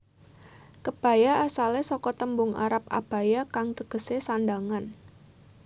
Kebaya asalé saka tembung arab abaya kang tegesé sandhangan